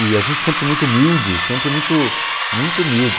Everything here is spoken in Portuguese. E a gente sempre muito humilde, sempre muito muito humilde.